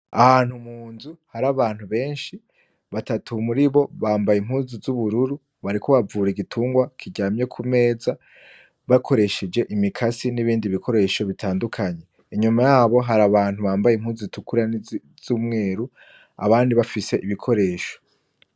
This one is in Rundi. Ahantu mu nzu hari abantu benshi, battu muribo bambaye impuzu z'ubururu bariko bavura igitungwa kiryamye ku meza bakoresheje imikasi n'ibindi bikoresho bitandukanye, inyuma yabo hari abantu bambaye impuzu zitukura nizumweru abandi bafise ibikoresho.